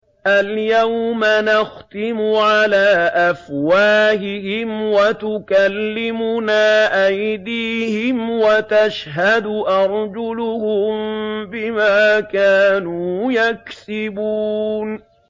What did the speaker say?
الْيَوْمَ نَخْتِمُ عَلَىٰ أَفْوَاهِهِمْ وَتُكَلِّمُنَا أَيْدِيهِمْ وَتَشْهَدُ أَرْجُلُهُم بِمَا كَانُوا يَكْسِبُونَ